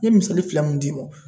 N ye misali fila mun d'i ma.